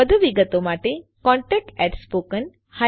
વધુ વિગતો માટે contactspoken tutorialorg પર સંપર્ક કરો